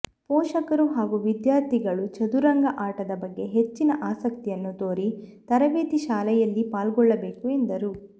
ಪೋಷಕರು ಹಾಗೂ ವಿದ್ಯಾರ್ಥಿಗಳು ಚದುರಂಗ ಆಟದ ಬಗ್ಗೆ ಹೆಚ್ಚಿನ ಆಸಕ್ತಿಯನ್ನು ತೋರಿ ತರಬೇತಿ ಶಾಲೆಯಲ್ಲಿ ಪಾಲ್ಗೊಳ್ಳಬೇಕು ಎಂದರು